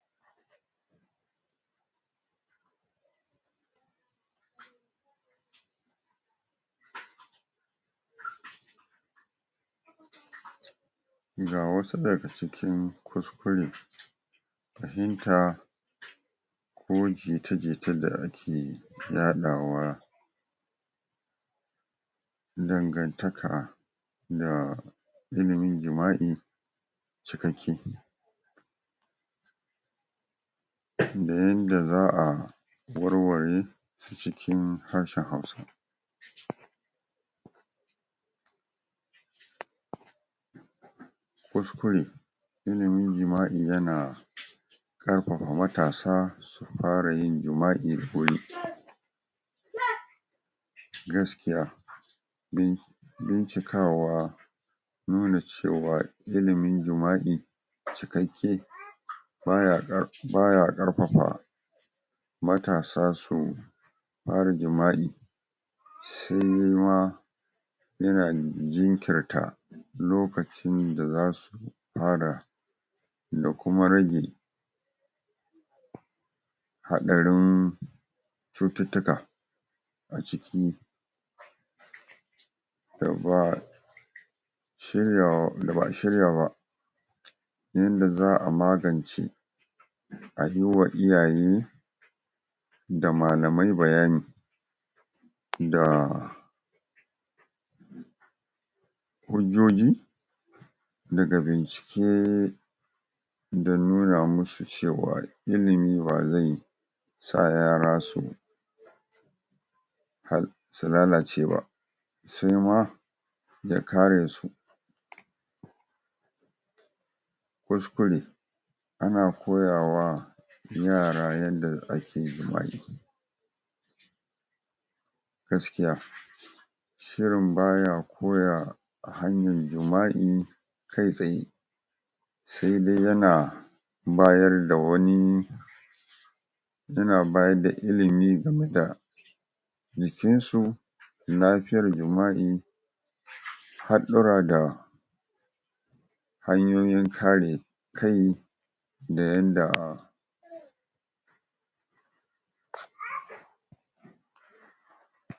pause ga wasu daga cikin kuskure fahimta ko jita-jita da ake yaɗawa dan gantaka da ilimin jima'i cikakke da yanda za'a warware cikin harshen hausa pause kuskure ilimin jima'i yana ƙarfafa matasa su fara yin jima'i suyi um gaskiya bin bincikawa nuna cewa ilimin jima'i cikakke baya kar.. baya karfafa matasa su fara jima'i se de ma yana jinkirta lokacin da zasu fara da kuma rage haɗarin cututtuka a ciki da ba'a shiryaawa da ba'a shirya ba yanda za'a magance a yiwa iyaye da malamai bayani da hujjoji daga bincike da nuna musu cewa ilimi bazai sa yara su jhar lalace ba se ma ya karesu kuskure ana koyawa yara yanda ake jima'i gaskiya shirin baya koya hanyar jima'i kai tsaye se dai yana bayar da wani yana bayar da ilimi game da jikinsu lafiyar jima'i haɗɗura da hanyoyin kare kai da yanda pause